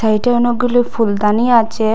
এইটায় অনেকগুলি ফুলদানি আচে ।